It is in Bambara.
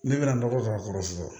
Ne bɛna nɔgɔ k'a kɔrɔ sisan